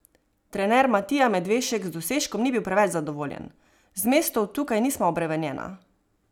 Trener Matija Medvešek z dosežkom ni bil preveč zadovoljen: "Z mestom tukaj nisva obremenjena.